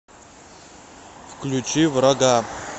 включи врага